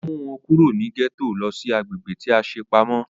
Ó mú wọn kúrò ní gẹ́tò lọ sí agbègbè tí a ṣe pamọ́